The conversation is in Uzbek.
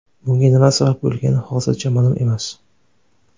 Bunga nima sabab bo‘lgani hozircha ma’lum emas.